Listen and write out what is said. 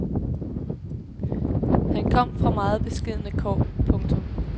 Han kom fra meget beskedne kår. punktum